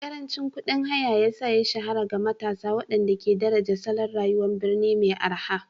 Karancin kuɗin haya ya sa ya shahara ga matasa waɗanda ke daraja salon rayuwar birni mai araha